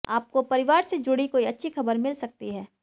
आपको परिवार से जुड़ी कोई अच्छी खबर मिल सकती है